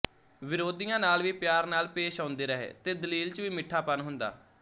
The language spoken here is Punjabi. ਵਿਰੋਧੀਆਂ ਨਾਲ ਵੀ ਪਿਆਰ ਨਾਲ ਪੇਸ਼ ਆਉਂਦੇ ਰਹੇ ਤੇ ਦਲੀਲ ਚ ਵੀ ਮਿੱਠਾਪਣ ਹੁੰਦਾ